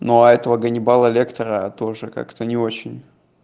ну а этого ганнибала лектора тоже как-то не очень